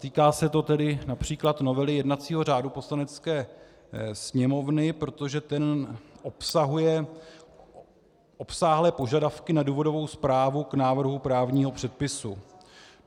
Týká se to tedy například novely jednacího řádu Poslanecké sněmovny, protože ten obsahuje obsáhlé požadavky na důvodovou zprávu k návrhu právního předpisu.